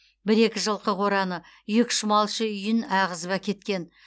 бір екі жылқы қораны екі үш малшы үйін ағызып әкеткен